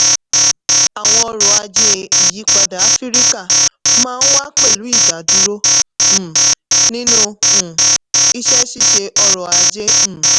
àwọn ọrọ̀-ajé ìyípadà áfíríkà máa ń wà pẹ̀lú ìdádúró um nínú um iṣẹ́-ṣíṣe ọrọ̀-ajé. um